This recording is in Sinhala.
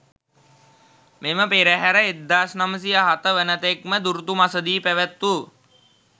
මෙම පෙරහර 1907 වනතෙක්ම දුරුතු මසදී පැවැත්වූ